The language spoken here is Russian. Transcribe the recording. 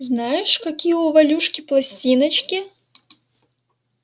знаешь какие у валюшки пластиночки